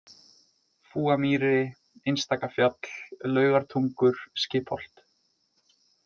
Fúamýri, Einstakafjall, Laugartungur, Skipholt